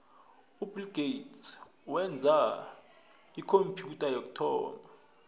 ubill gates wenza ikhompyutha yokuthoma